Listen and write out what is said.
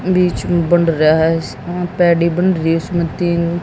बीच में बंन रहा है पैड़ी बन रही है उसमें तीन--